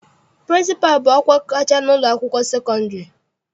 Pịrịnsịpalụ bụ ọkwa kacha n'ụlọakwụkwọ sekọndịrị.